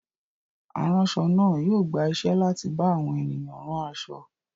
Aránṣọ náà yóò gba iṣẹ́ láti bá àwọn ènìyàn rán aṣọ.